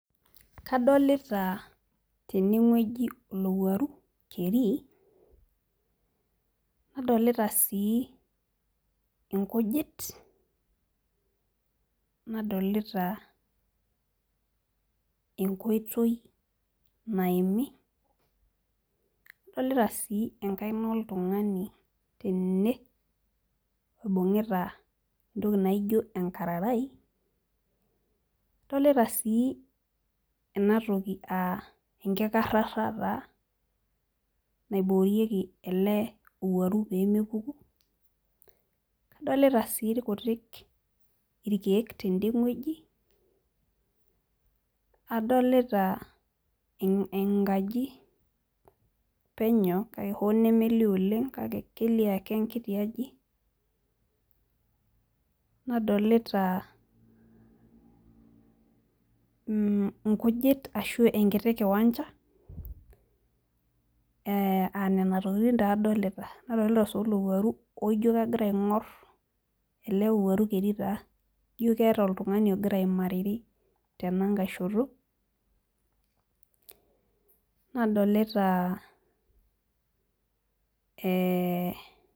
Kadolita tene wueji olowuaru keri, naadolita sii nkujit, naadolita enkoitoi naimi, naadolita sii enkaina oltungani tene oibungita entoki naijo enkararai. nadolita sii ena toki aa enkkarata taa naoboorieki, olowuari too lukuny, adolita sii irkutik irkeek tene wueji, adolita enkaji penyo kake hoo nemelioo oleng kake kelio ake enkiti aji naadolita inkujit ashu enkiti kiwancha.aa Nena tokitin taa adolita. nadolita sii olowuaru laijo kegira aingor ele owuaru keri taa ,ijo keeta oltungani ogira aimariri tenankae shoto. Naadolita ee.